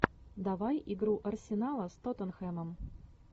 давай игру арсенала с тоттенхэмом